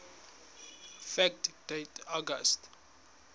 fact date august